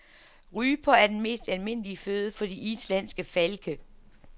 Ryper er den mest almindelige føde for de islandske falke.